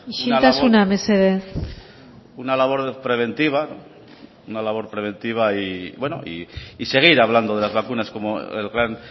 isiltasuna mesedez una labor preventiva y seguir hablando de las vacunas como el gran